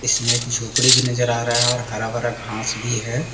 इसमे एक झोपड़ी भी नजर आ रहा है और हरा-भरा घास भी है।